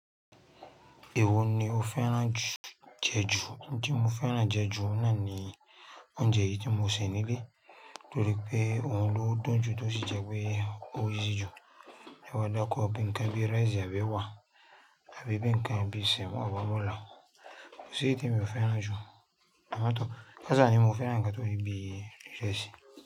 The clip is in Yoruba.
Ìwo ni o fẹ́ràn jù, jẹ ju, tí mo fẹ́ràn jẹ ju náà ni oúnjẹ yìí tí mo sì nílé, torí pé òun ló dùn jù tó sì jẹ pé ó yí sì jù. Tẹ́bàá dákọ́ ọ̀bẹ ǹkan bí rice àbí ewa àbí bi ǹkan bí sẹ́mọ̀ àbí amọ̀lá, kò sí eyi tí emi o fẹ́ràn jù. Àmọ́ tó, kasá ni mo fẹ́ràn ǹkan tó ri bí ìrẹsì.